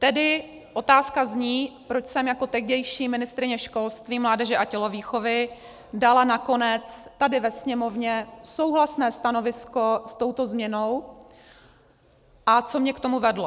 Tedy otázka zní, proč jsem jako tehdejší ministryně školství, mládeže a tělovýchovy dala nakonec tady ve Sněmovně souhlasné stanovisko s touto změnou a co mě k tomu vedlo.